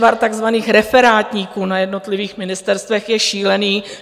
Nešvar takzvaných referátníků na jednotlivých ministerstvech je šílený.